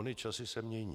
Ony časy se mění.